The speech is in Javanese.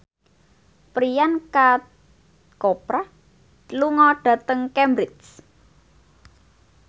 Priyanka Chopra lunga dhateng Cambridge